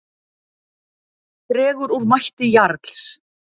Dregur úr mætti Jarls